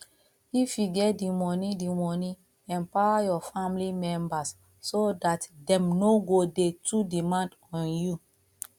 if you get di money di money empower your family members so dat dem no go dey too demand on you